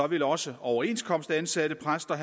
vil også overenskomstansatte præster